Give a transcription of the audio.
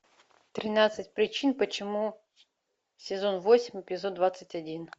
тринадцать причин почему сезон восемь эпизод двадцать один